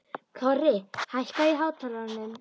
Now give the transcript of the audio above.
Korri, hækkaðu í hátalaranum.